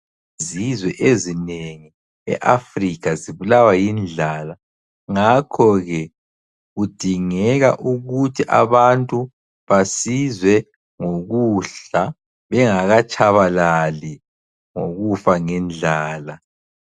Izizwe ezinengi eAfrica zibulawa yindlala ngakho ke kudingeka ukuthi abantu basizwe ngokudla ,bengakatshabalali ngokufa ngendlala.